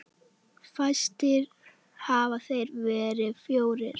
Fæstir hafa þeir verið fjórir.